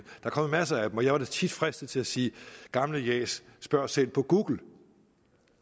er kommet masser af dem og jeg var da tit fristet til at sige gamle jas spørg selv på google